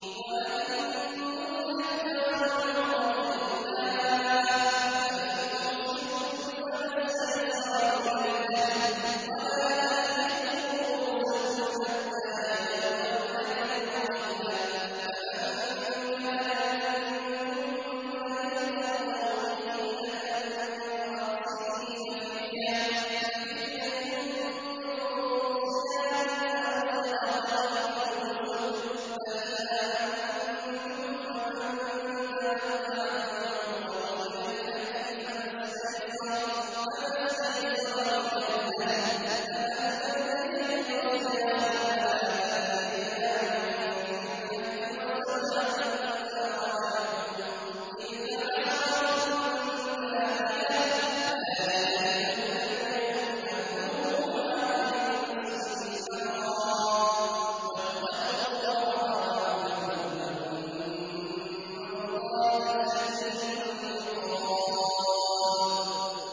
وَأَتِمُّوا الْحَجَّ وَالْعُمْرَةَ لِلَّهِ ۚ فَإِنْ أُحْصِرْتُمْ فَمَا اسْتَيْسَرَ مِنَ الْهَدْيِ ۖ وَلَا تَحْلِقُوا رُءُوسَكُمْ حَتَّىٰ يَبْلُغَ الْهَدْيُ مَحِلَّهُ ۚ فَمَن كَانَ مِنكُم مَّرِيضًا أَوْ بِهِ أَذًى مِّن رَّأْسِهِ فَفِدْيَةٌ مِّن صِيَامٍ أَوْ صَدَقَةٍ أَوْ نُسُكٍ ۚ فَإِذَا أَمِنتُمْ فَمَن تَمَتَّعَ بِالْعُمْرَةِ إِلَى الْحَجِّ فَمَا اسْتَيْسَرَ مِنَ الْهَدْيِ ۚ فَمَن لَّمْ يَجِدْ فَصِيَامُ ثَلَاثَةِ أَيَّامٍ فِي الْحَجِّ وَسَبْعَةٍ إِذَا رَجَعْتُمْ ۗ تِلْكَ عَشَرَةٌ كَامِلَةٌ ۗ ذَٰلِكَ لِمَن لَّمْ يَكُنْ أَهْلُهُ حَاضِرِي الْمَسْجِدِ الْحَرَامِ ۚ وَاتَّقُوا اللَّهَ وَاعْلَمُوا أَنَّ اللَّهَ شَدِيدُ الْعِقَابِ